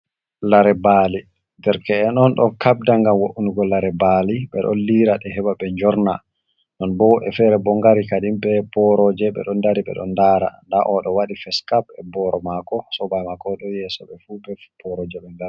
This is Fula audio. Lare mbaali derke’en on ɗo kabda ngam wo’nugo lare mbaali, ɓe ɗo liira ɗe, heba ɓe njorna, non bo ɓe fere bo ngari kadi be boroje, ɓe ɗo dari ɓe ɗo lara, nda o ɗo waɗi facecap be boro mako, sobajo mako ɗo yeso ɓe fu be boroje maɓɓe.